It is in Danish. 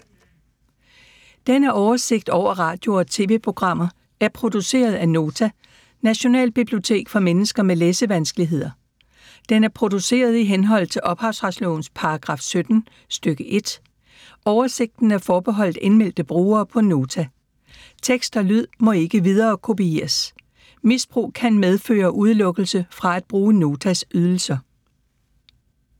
Denne oversigt over radio og TV-programmer er produceret af Nota, Nationalbibliotek for mennesker med læsevanskeligheder. Den er produceret i henhold til ophavsretslovens paragraf 17 stk. 1. Oversigten er forbeholdt indmeldte brugere på Nota. Tekst og lyd må ikke viderekopieres. Misbrug kan medføre udelukkelse fra at bruge Notas ydelser.